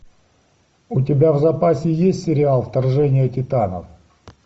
у тебя в запасе есть сериал вторжение титанов